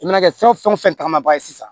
U mana kɛ fɛn fɛn tagama ba ye sisan